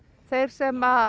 þeir sem